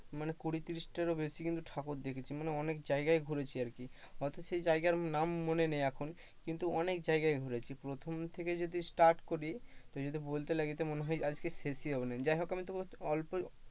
মানে কুড়ি তিরিশটার ও বেশি মানে কিন্তু ঠাকুর দেখেছি অনেক জায়গায় ঘুরেছি আর কি, হয়তো সেই জায়গার নাম মনে নেই এখন, কিন্তু অনেক জায়গায় ঘুরেছি, প্রথম থেকে যদি start করি তো যদি বলতে লাগি তো আজকে শেষই হবে না।